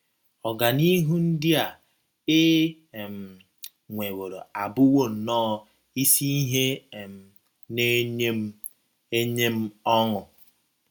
Ọganihu ndị a e um nweworo abụwo nnọọ isi ihe um na - enye m enye m ọṅụ.